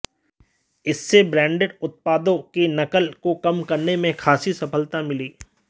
इससे ब्रांडेड उत्पादों के नकल को कम करने में खासी सफलता मिली